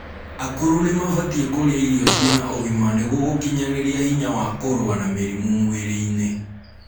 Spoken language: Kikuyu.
akũrũ nimabatie kurĩa irio ciĩna ũgima nĩguo gukinyanirĩa hinya wa kurua na mĩrimũ mwĩrĩ-ini